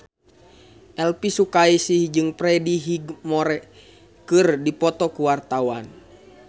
Elvy Sukaesih jeung Freddie Highmore keur dipoto ku wartawan